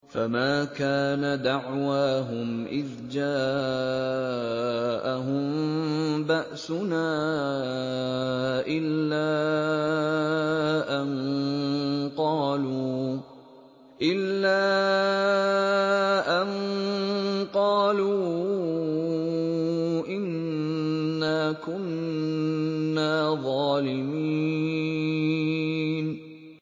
فَمَا كَانَ دَعْوَاهُمْ إِذْ جَاءَهُم بَأْسُنَا إِلَّا أَن قَالُوا إِنَّا كُنَّا ظَالِمِينَ